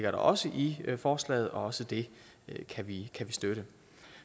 også i forslaget og også det kan vi støtte